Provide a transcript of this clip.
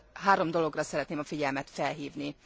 Három dologra szeretném a figyelmet felhívni.